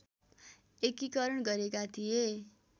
एकीकरण गरेका थिए